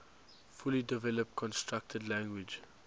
fully developed constructed language